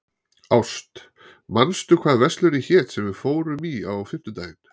Ást, manstu hvað verslunin hét sem við fórum í á fimmtudaginn?